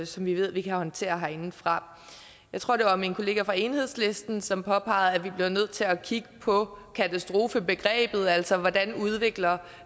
som vi ved at vi kan håndtere herindefra jeg tror det var min kollega fra enhedslisten som påpegede at vi bliver nødt til at kigge på katastrofebegrebet altså hvordan det udvikler